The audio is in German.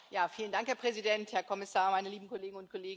Herr Präsident, Herr Kommissar, meine lieben Kolleginnen und Kollegen!